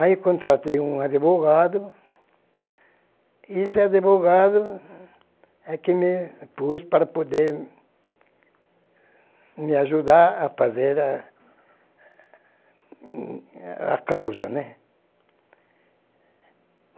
Aí eu contratei um advogado, e esse advogado é quem me pôs para poder me ajudar a fazer a causa, né.